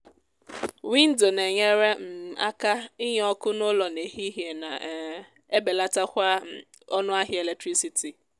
windo na enyere um aka inye ọkụ n'ụlọ n'ehihie na um ebelatakwa um ọnụ ahịa eletirisiti